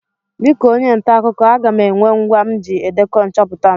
Dịka onye nta akụkọ, aga m enwe ngwa m ji edekọ nchọpụta m.